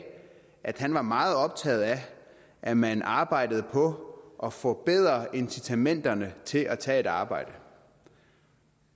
at han var meget optaget af at man arbejdede på at forbedre incitamenterne til at tage et arbejde